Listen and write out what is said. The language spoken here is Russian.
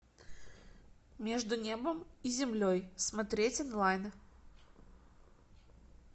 между небом и землей смотреть онлайн